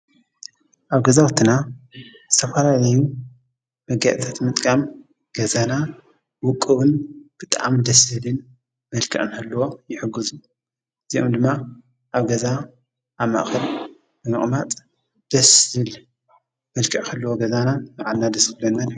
ኣብ ገዛዉትና ዝተፋላለዩ መጋየፅታት ምጥቃም ገዛና ዉቅቡን ብጣዕሚ ደስ ዝብልን መልክዕ ንኽህልዎ ይሕግዙ። እዚኦም ድማ ኣብ ገዛ ኣብ ማእከል ብምቅማጥ ደስ ዝብል መልክዕ ክህልዎ ገዛና ንባዕልና ደስ ክብለናን ይጠቅሙ።